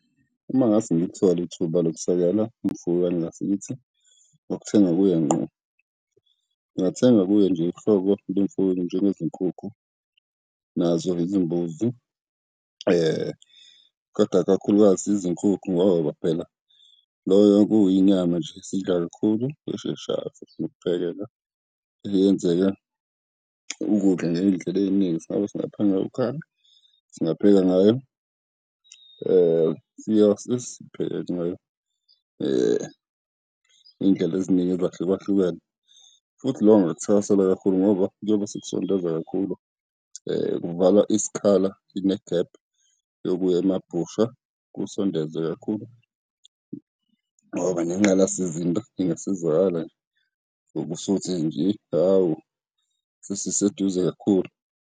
Uma ngingase ngithole ithuba lokusekela umfuyi wangakithi, ngokuthenga kuye ngqo, ngingathenga kuye nje uhlobo lwemfuyo njengezinkukhu nazo izimbuzi. Kodwa kakhulukazi izinkukhu ngoba phela loyo kuyinyama nje esiyidlala kakhulu esheshayo futhi nokuphekela, eyenzeka ukudla ngey'ndlela ey'ningi, singaba singapheka ngayo ukhari, singapheka ngayo siyose, sipheke ngayo ngey'ndlela eziningi ezahlukahlukene. Futhi lokho ngingakuthakasela kakhulu ngoba kuyobe sekusondeza kakhulu, kuvala isikhala, inegephu yokuya emabhusha, kusondeze kakhulu ngoba ngengqalasizinda ingasizakala ngoba usuthi nje, hawu sesiseduze kakhulu.